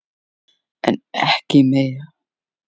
En ekki meira.